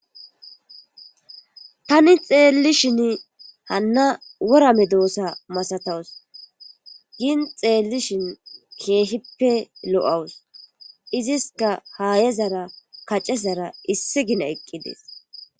tani xeelli shin hanna worame doossa masatawus gin xeellishin keehippe lo7awus iziska haayezara kacezara issi gina eqqides